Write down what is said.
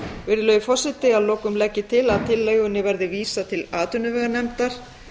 virðulegi forseti að lokum legg ég til að tillögunni verði vísað til atvinnuveganefndar